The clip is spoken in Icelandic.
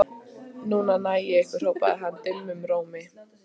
Núna næ ég ykkur hrópaði hann dimmum rómi.